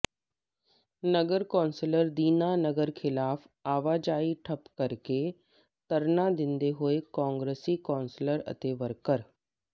ਨਗਰ council Dinanagar ਖਿਲਾਫ ਆਵਾਜਾਈ ਠੱਪ ਕਰਕੇ ਧਰਨਾ ਦਿੰਦੇ ਹੋਏ ਕਾਂਗਰਸੀ ਕੌਂਸਲਰ ਅਤੇ ਵਰਕਰ